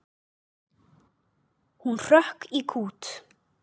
Hún hrökk í kút.